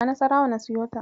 A Nassarawa na siyo ta.